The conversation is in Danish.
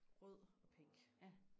rød og pink